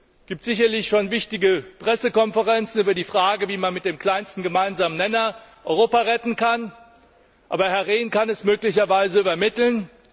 Es gibt sicherlich schon wichtige Pressekonferenzen über die Frage, wie man mit dem kleinsten gemeinsamen Nenner Europa retten kann, aber Herr Rehn kann meine Frage möglicherweise übermitteln.